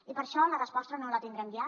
i per això la resposta no la tindrem ja